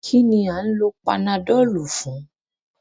Kí ni à ń lo panadọ́ọ̀lù fun?